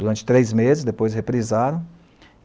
Durante três meses, depois reprisaram.